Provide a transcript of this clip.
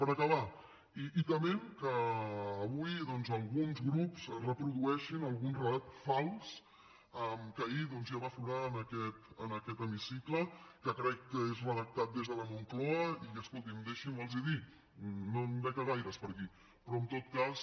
per acabar i tement que avui doncs alguns grups reprodueixin algun relat fals que ahir doncs ja va aflorar en aquest hemicicle que crec que és redactat des de la moncloa i escoltin deixin me dir los ho no en veig a gaires per aquí però en tot cas